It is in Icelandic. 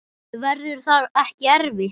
Verður það ekki erfitt?